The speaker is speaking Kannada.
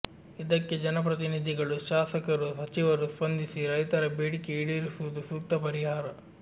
ಇದಕ್ಕೆ ಜನಪ್ರತಿನಿಧಿಗಳು ಶಾಸಕರು ಸಚಿವರು ಸ್ಪಂದಿಸಿ ರೈತರ ಬೇಡಿಕೆ ಈಡೇರಿಸುವುದು ಸೂಕ್ತ ಪರಿಹಾರ